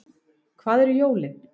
Hvað eru jólin